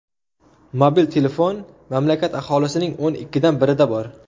Mobil telefon mamlakat aholisining o‘n ikkidan birida bor.